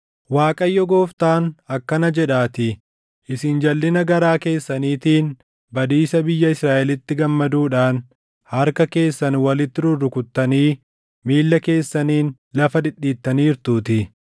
Waaqayyo Gooftaan akkana jedhaatii: Isin jalʼina garaa keessaniitiin badiisa biyya Israaʼelitti gammaduudhaan harka keessan walitti rurrukuttanii miilla keessaniin lafa dhidhiittaniirtuutii;